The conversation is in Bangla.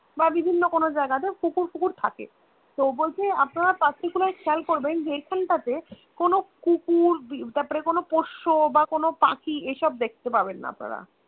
বা বিভিন্ন কোনো জায়গায় কুকুর টুকুর থাকে তো বলছে আপনারা particular খেয়াল করবেন যে এখন টাতে কোনো কুকুর তারপর কোনো পোষ্য বা কোনো পাখী এসব দেখতে পাবেন না আপনারা